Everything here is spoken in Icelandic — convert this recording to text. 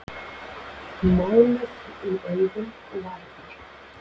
Máluð um augun og varirnar.